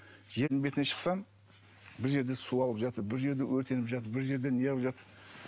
жердің бетіне шықсам бір жерде су ағып жатыр бір жерде өртеніп жатыр бір жерде неғып жатыр